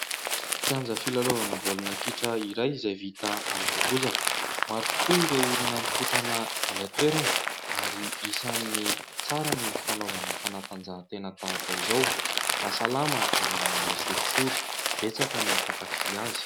Kianja filalaovana baolina kitra iray izay vita amin'ny bozaka, maro tokoa ireo olona mikotrana eny an-toerana ary isan'ny tsara ny fanaovana fanatanjahantena tahaka izao mahasalama ary manala sorisory, betsaka ny mpakafia azy.